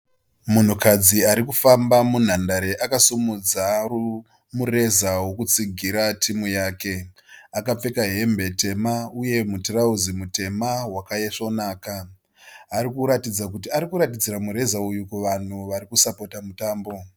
Munhukadzi ari kufamba mundandare akasimudzira mureza wokutsigira timu yake. Akapfeka hembe tema uye mutirauzi mutema wakaisvonaka. Ari kuratidzira kuti ari kuratidzira mureza uyu kuvanhu vari kusapota mutambo.